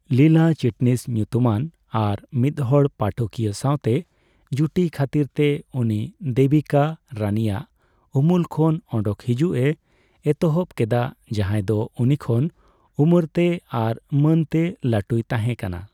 ᱞᱤᱞᱟ ᱪᱤᱴᱱᱤᱥ ᱧᱩᱛᱩᱢᱟᱱ ᱟᱨ ᱢᱤᱫ ᱦᱚᱲ ᱯᱟᱴᱷᱚᱠᱤᱭᱟᱹ ᱥᱟᱣᱛᱮ ᱡᱩᱴᱤ ᱠᱷᱟᱹᱛᱤᱨᱛᱮ ᱩᱱᱤ ᱫᱮᱵᱤᱠᱟ ᱨᱟᱹᱱᱤᱭᱟᱜ ᱩᱢᱩᱞ ᱠᱷᱚᱱ ᱚᱰᱚᱠ ᱦᱤᱡᱩᱜᱼᱮ ᱮᱛᱚᱦᱚᱯ ᱠᱮᱫᱟ, ᱡᱟᱦᱟᱸᱭ ᱫᱚ ᱩᱱᱤ ᱠᱷᱚᱱ ᱩᱢᱟᱹᱨ ᱛᱮ ᱟᱨ ᱢᱟᱹᱱ ᱛᱮ ᱞᱟᱹᱴᱩᱭ ᱛᱟᱦᱸᱮ ᱠᱟᱱᱟ ᱾